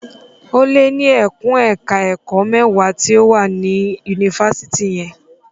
Ó lé ní ẹkùn ẹ̀ka ẹ̀kó mẹ́wàá tí ó wà ní yunifásitì yẹn.